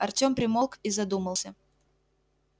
артём примолк и задумался